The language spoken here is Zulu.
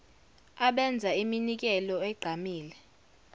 abenza iminikelo egqamile